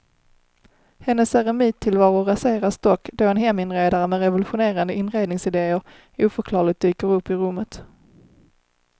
Hennes eremittillvaro raseras dock då en heminredare med revolutionerande inredningsidéer oförklarligt dyker upp i rummet.